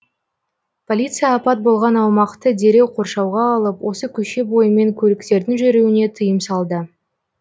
полиция апат болған аумақты дереу қоршауға алып осы көше бойымен көліктердің жүруіне тыйым салды